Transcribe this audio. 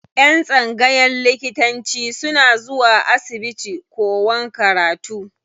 Yan tsangayan likitanci suna zuwa asibiti kowan karatu.